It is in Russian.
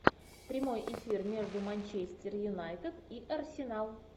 прямой эфир между манчестер юнайтед и арсенал